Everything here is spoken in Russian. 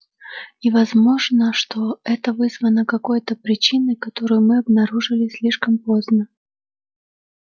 и возможно что это вызвано какой то причиной которую мы обнаружили слишком поздно